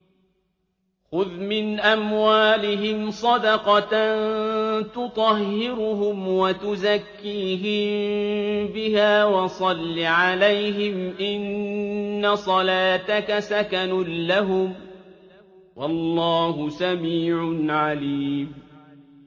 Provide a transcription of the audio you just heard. خُذْ مِنْ أَمْوَالِهِمْ صَدَقَةً تُطَهِّرُهُمْ وَتُزَكِّيهِم بِهَا وَصَلِّ عَلَيْهِمْ ۖ إِنَّ صَلَاتَكَ سَكَنٌ لَّهُمْ ۗ وَاللَّهُ سَمِيعٌ عَلِيمٌ